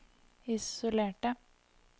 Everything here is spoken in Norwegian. isolerte